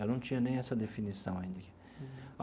Eu não tinha nem essa definição ainda.